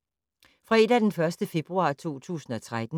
Fredag d. 1. februar 2013